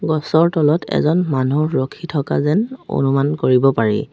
গছৰ তলত এজন মানুহ ৰখি থকা যেন অনুমান কৰিব পাৰি।